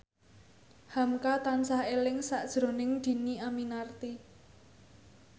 hamka tansah eling sakjroning Dhini Aminarti